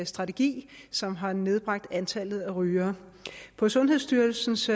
strategi som har nedbragt antallet af rygere på sundhedsstyrelsens